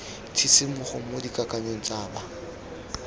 tshisimogo mo dikakanyong tsa ba